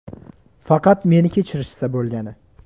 Faqat meni kechirishsa bo‘lgani.